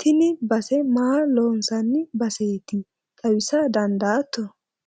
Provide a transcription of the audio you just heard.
tini base maa loonsanni baseeti xawisa dandaatto?